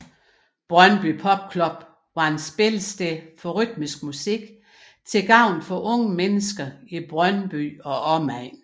Brøndby Pop Club var et spillested for rytmisk musik til gavn for unge mennesker i Brøndby og omegn